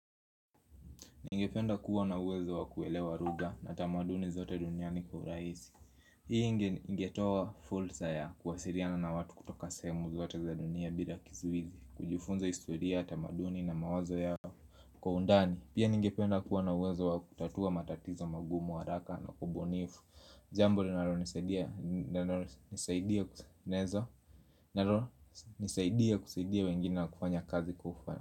Ningependa kuwa na uwezo wa kuelewa lugha na tamaduni zote duniani kwa uraisi Hii ingetowa fursa ya kuwasiliana na watu kutoka sehemu zote za dunia bila kizuizi kujufunza historia, tamaduni na mawazo ya kwa undani Pia ningependa kuwa na uwezo wa kutatua matatizo magumu, waraka na kubonifu Jambo linalonisaidia nisaidia kusaidia wengine na kufanya kufanya.